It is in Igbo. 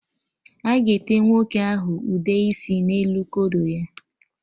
A ga-ete nwoke ahụ ụde isi n'elu kodo ya